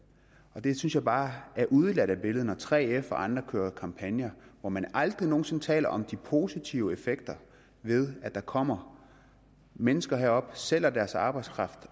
og det synes jeg bare er udeladt af billedet når 3f og andre kører kampagner hvor man aldrig nogen sinde taler om de positive effekter ved at der kommer mennesker herop og sælger deres arbejdskraft